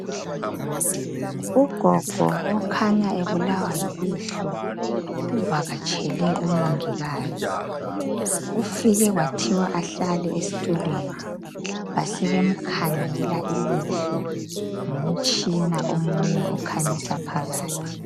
Ugogo okhanya ebulawa yilihlo uvakatshele umongikazi, ufike kwathwa ahlale esitulweni basebemkhangela ilihlo ngomtshina omunye okhanyisa phakathi.